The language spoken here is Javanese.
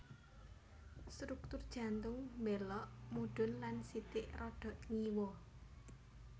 Struktur jantung mbélok mudhun lan sithik rada ngiwa